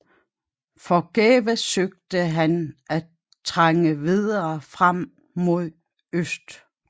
Forgæves søgte han at trænge videre frem mod øst